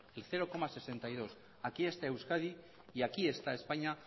el cero coma sesenta y dos aquí está euskadi y aquí está españa